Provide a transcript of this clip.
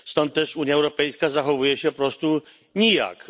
Stąd też Unia Europejska zachowuje się po prostu nijak.